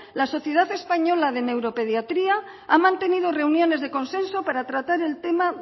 la sociedad española de neuropediatría ha mantenido reuniones de consenso para tratar el tema